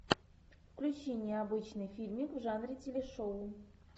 включи необычный фильмик в жанре телешоу